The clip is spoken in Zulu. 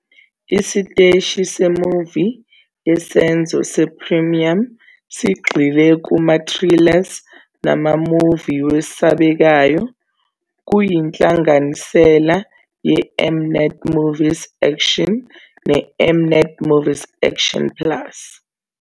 Isiteshi se-movie yesenzo se-premium sigxile kuma-thrillers nama-movie wesabekayo. Kuyinhlanganisela yeM-Net Movies Action neM-Net Movies Action plus.